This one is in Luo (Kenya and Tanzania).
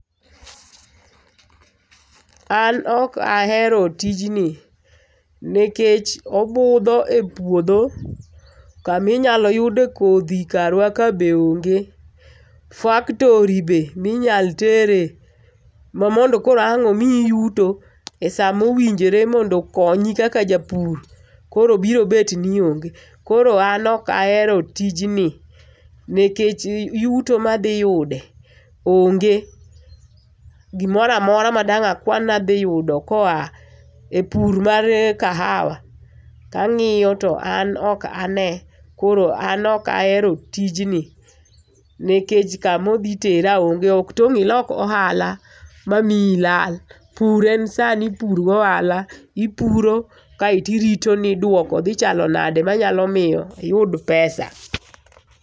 An ok ahero tijni nikech obudho e puodho kama inyalo yude kodhi karwa ka be onge. Faktori be minyalo tere ma mondo koro ang' omiyi yuto e sama ma owinjore mondo okonyi kaka japur koro biro bet nuonge. Koro an ok ahero tijni nikech yuto ma adhi yude onge. G